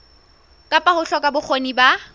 kapa ho hloka bokgoni ba